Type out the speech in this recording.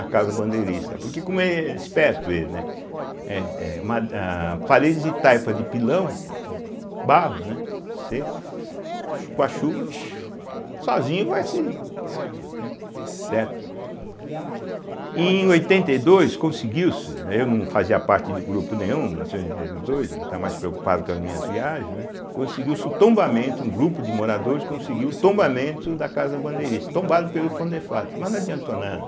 a Casa Bandeirista, porque como êh é esperto ele, né, eh eh ma a parede de taipa de pilão, né, barro, né, seco, chu com a chuva xiuu, sozinho vai se se eh, certo. E em oitenta e dois conseguiu-se, eh eu não fazia parte de grupo nenhum, mil novecentos e oitenta e dois, né, estava mais preocupado com as minhas viagens, né, conseguiu-se o tombamento, um grupo de moradores conseguiu o tombamento da Casa Bandeirista, tombado pelo Condefate, mas não adiantou nada.